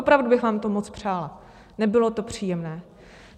Opravdu bych vám to moc přála, nebylo to příjemné.